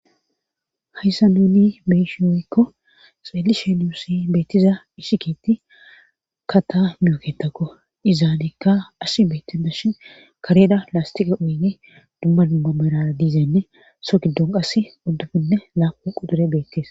hayssa nuni beshi yoykko xeelishenuusi beettiza ishikiti kata myooketakko izaanekka as beettida shin kareda laastiqe oynge dumma dumma mara diizenne so giddon qas oddubinne laaqun qudure beettees